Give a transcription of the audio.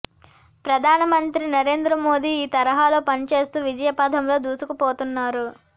ప్రధాన మం త్రి నరేంద్ర మోదీ ఈ తరహాలో పనిచేస్తూ విజయపథంలో దూసుకుపోతున్నారు